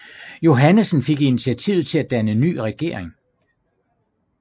Johannesen fik initiativet til at danne ny regering